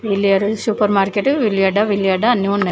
Million super market ఉల్లిగడ్డ ఉల్లిగడ్డ అన్నీ ఉన్నాయి.